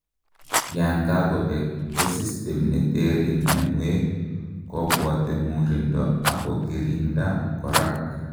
yankakobek, ko system netere mianwek kobwote murindo ak kokiringda korak